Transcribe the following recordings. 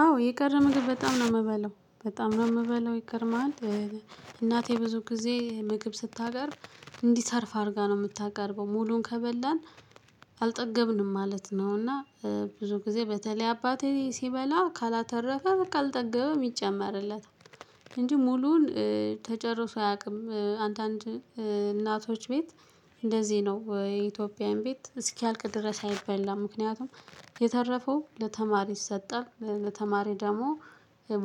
አዎ የቀረ ምግብ በጣም ነው እምበላው በጣም ነው እምበላው ይገርምሃል። እናቴ ብዙ ጊዜ ምግብ ስታቀርብ እንዲተርፍ አድርጋ ነው እምታቀርበው ሙሉን ከበላን አልጠገብንም ማለት ነው። እና ብዙ ጊዜ በተለይ አባቴ ሲበላ ካላተረፈ በቃ አልጠገበም ይጨመርለታል። እንጂ ሙሉውን ተጨርሶ አያቅም። አንዳንድ እናቶች ቤት እንደዚህ ነው የኢትዮጵያን ቤት እስኪያልቅ ድረስ አይበላም። ምክንያቱም የተረፈው ለተማሪ ይሰጣል ለተማሪ ደግሞ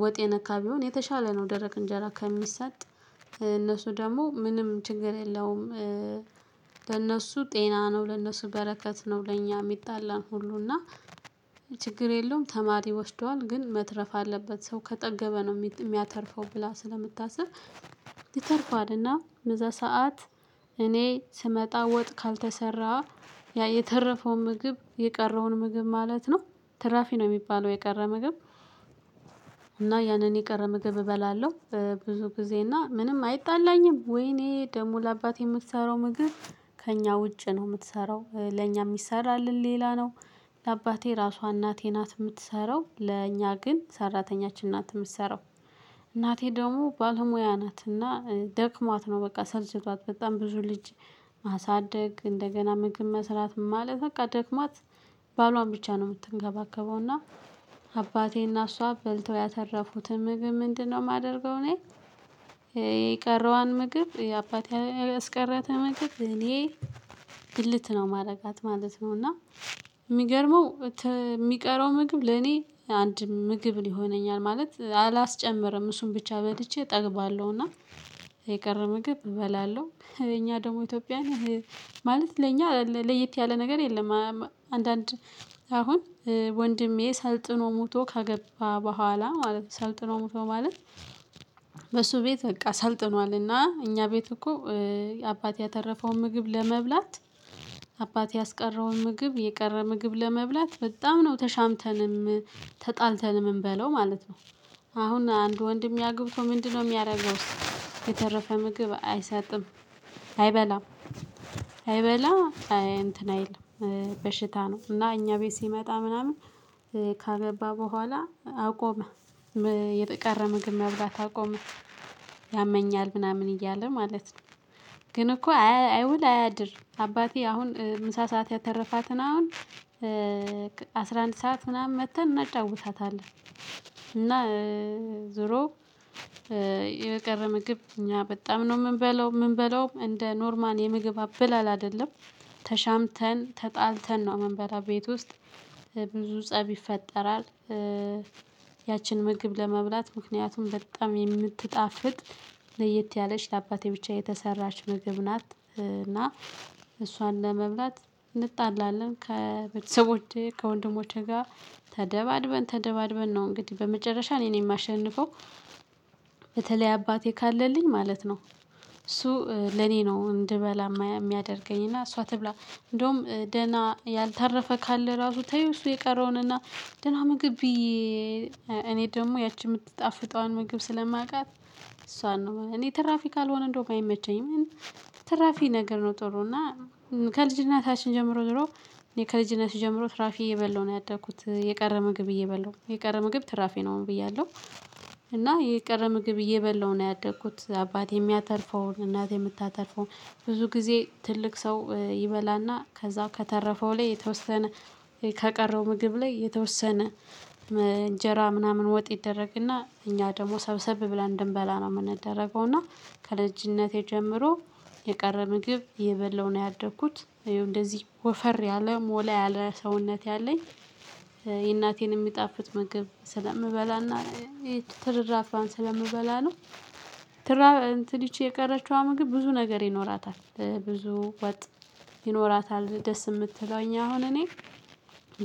ወጥ የነካ ቢሆን የተሻለ ነው። ደረቅ እንጀራ ከሚሰጥ እነሱ ደሞ ምንም ችግር የለውም። ለእነሱ ጤና ነው ለእነሱ በረከት ነው። ለእኛ እሚጣላን ሁሉ እና ችግር የለውም ተማሪ ወስዷል ግን መትረፍ አለበት ሰው ከጠገበ ነው እሚያተርፈው ብላ ስለምታስብ። ይተርፋልና በዛ ሰዓት እኔ ስመጣ ወጥ ካልተሰራ ያ የተረፈውን ምግብ የቀረውን ምግብ ማለት ነው ትራፊ ነው እሚባለው የቀረ ምግብ። እና ያንን የቀረ ምግብ እበላለሁ። ብዙ ጊዜ እና ምንም አይጣላኝም ወይ እኔ ደግሞ ለአባቴ እምትሰራው ምግብ ከእኛ ውጪ ነው እምትሰራው ለእኛ እሚሰራልን ሌላ ነው። ለአባቴ ራሷ እናቴ ናት እምትሰራው ለኛ ግን ሰራተኛችን ናት እምትሰራው። እናቴ ደሞ ባለሙያ ናት እና ደክሟት ነው በቃ ሰልችቷት በጣም ብዙ ልጅ ማሳደግ እንደገና ምግብ መስራት ማለት በቃ ደክሟት። ባሏን ብቻ ነው እምትንከባከበው እና አባቴና እሷ በልተው ያተረፉትን ምግብ ምንድነው እማደርገው እኔ? የቀረዋን ምግብ አባቴ ያስቀራትን ምግብ እኔ ብልት ነው ማረጋት ማለት ነው። እና እሚገርመው እሚቀረው ምግብ ለኔ አንድ ምግብ ይሆነኛል ማለት አላስጨምርም እሱን ብቻ በልቼ እጠግባለሁ። እና የቀረ ምግብ እበላለሁ እኛ ደግሞ ኢትዮጵያዊያን ማለት ለእኛ ለየት ያለ ነገር የለም። አንዳንድ አሁን ወንድሜ ሰልጥኖ መቶ ከገባ ቡሃላ ማለት ሰልጥኖ መቶ ማለት። በሱ ቤት በቃ ሰልጥኗልና እና እኛ ቤት እኮ አባቴ ያተረፈውን ምግብ ለመብላት አባቴ ያስቀረውን ምግብ የቀረ ምግብ ለመብላት በጣም ነው ተሻምተንም ተጣልተንም እምንበላው ማለት ነው። አሁን አንዱ ወንድሜ አግብቶ ምንድነው እሚያደርገው? የተረፈ ምግብ አይሰጥም። አይበላም። አይበላም አይ እንትን አይልም በሽታ ነው እና እኛ ቤት ሲመጣ ምናምን ካገባ በኋላ አቆመ። የቀረ ምግብ መብላት አቆመ ያመኛል ምናምን እያለ ማለት ነው። ግን እኮ አይ ውል አያድር አባቴ አሁን ምሳ ሰዓት ያተረፋትን አሁን አስራ አንድ ሰዓት ምናምን መጥተን እናጫውታታለን። እና ዙሮ የቀረ ምግብ እኛ በጣም ነው እምንበላው እምንበላውም እንደ ኖርማል የምግብ አበላል አይደለም። ተሻምተን ተጣልተን ነው እምንበላው ቤት ውስጥ ብዙ ፀብ ይፈጠራል። ያችን ምግብ ለመብላት ምክንያቱም በጣም የምትጣፍጥ ለየት ያለች ለአባቴ ብቻ የተሰራች ምግብ ናት። እና እሷን ለመብላት እንጣላለን ከቤተሰቦቼ ከወንድሞቼ ጋር ተደባድበን ተደባድበን ነው እንግዲህ በመጨረሻ እኔን እማሸንፈው። በተለይ አባቴ ካለልኝ ማለት ነው። እሱ ለኔ ነው እንድበላ እሚያደርገኝ እሷ ትብላ እንደውም ደህና ያልተረፈ ካለ ራሱ ተይው እሱ የቀረውንና። ደህና ምግብ ብይ። እኔ ደግሞ ያቺ እምትጣፍጠዋን ምግብ ስለማቃት እሷን እኔ ትራፊ ካልሆነ እንደውም አይመቸኝም። ትራፊ ነገር ነው ጥሩ እና ከልጅነታችን ጀምሮ ድሮ እኔ ከልጅነት ጀምሮ ትራፊ እየበላሁ ነው ያደኩት የቀረ ምግብ እየበላሁ የቀረ ምግብ ትራፊ ነው ብያለሁ። እና የቀረ ምግብ እየበላሁ ነው ያደግኩት አባት እሚያተርፈውን እናቴ እምታተርፈውን ብዙ ጊዜ ትልቅ ሰው ይበላና ከዛው ከተረፈው ላይ የተወሰነ ከቀረው ምግብ ላይ የተወሰነ እንጀራ ምናምን ወጥ ይደረግና እኛ ደሞ ሰብሰብ ብላ እንደምበላ ነው እምንደረገው። እና ከልጅነቴ ጀምሮ የቀረ ምግብ እየበላሁ ነው ያደኩት እየው እንደዚህ ወፈር ያለ ሞላ ያለ ሰውነት ያለኝ የእናቴን የሚጣፍጥ ምግብ ስለምበላና ትርራፊዋን ስለምበላ ነው። እንትን ይቺ የቀረችዋ ምግብ ግን ብዙ ነገር ይኖራታል። ብዙ ወጥ ይኖራታል ደስ እምትለኝ አሁን እኔ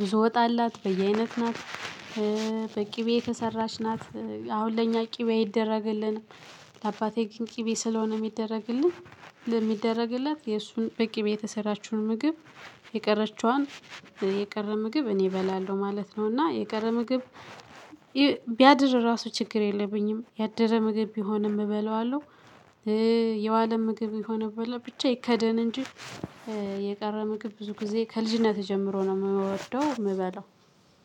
ብዙ ወጥ አላት በየአይነት ናት። በቅቤ የተሰራች ናት አሁን ለእኛ ቅቤ አይደረግልንም። ለአባቴ ግን ቅቤ ስለሆነ እሚደረግለት የእሱን በቅቤ የተሰራችውን ምግብ የቀረችዋን የቀረ ምግብ እኔ እበላለሁ ማለት ነው እና የቀረ ምግብ። ቢያድር ራሱ ችግር የለብኝም ያደረ ምግብ ቢሆንም እበላዋለሁ። የዋለ ምግብ ቢሆን ብቻ ይከደን እንጂ የቀረው ምግብ ብዙ ጊዜ ከልጅነትህ ጀምሮ ነው እምወደው እምበላው።